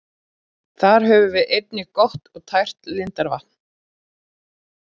Þar höfum við einnig gott og tært lindarvatn.